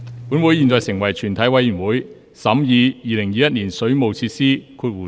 本會現在成為全體委員會，審議《2021年水務設施條例草案》。